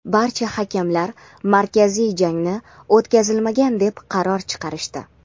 barcha hakamlar markaziy jangni o‘tkazilmagan deb qaror chiqarishdi.